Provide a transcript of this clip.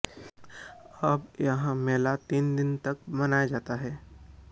अब यह मेला तीन दिनों तक मनाया जाता है